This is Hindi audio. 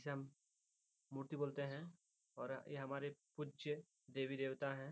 इसे हम मूर्ति बोलते हैं और यह हमारी पूज्य देवी-देवता हैं।